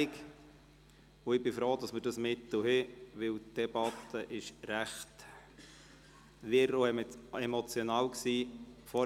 Ich bin froh, dass wir dieses Mittel haben, da die Debatte vor dieser Klärung recht wirr und emotional war.